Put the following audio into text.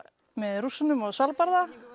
með Rússunum á Svalbarða